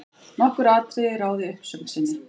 Nokkur atriði ráði uppsögn sinni.